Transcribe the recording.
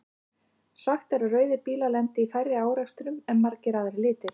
Sagt er að rauðir bílar lendi í færri árekstrum en margir aðrir litir.